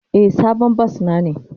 Eh, sabon bas na ne.